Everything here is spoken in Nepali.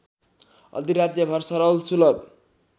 अधिराज्यभर सरल सुलभ